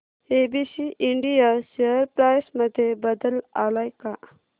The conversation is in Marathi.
एबीसी इंडिया शेअर प्राइस मध्ये बदल आलाय का